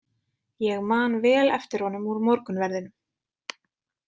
Ég man vel eftir honum úr morgunverðinum.